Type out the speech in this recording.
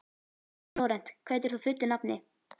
Flórent, hvað heitir þú fullu nafni?